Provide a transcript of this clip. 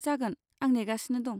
जागोन, आं नेगासिनो दं।